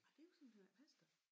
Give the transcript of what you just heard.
Ej det kunne simpelthen ikke passe da